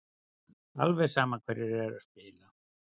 Alveg sama hverjir eru að spila.